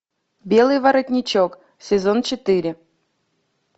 белый воротничок сезон четыре